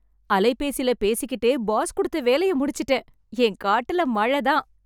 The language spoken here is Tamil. அலைபேசில பேசிக்கிட்டே பாஸ் கொடுத்த வேலையை முடிச்சுட்டேன். என் காட்டுல மழை தான்